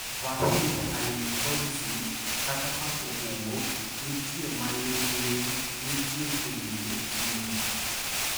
Vahid Halilhodzic, kata kapo owuok, nitie maling'ling' nitie tungni e timno.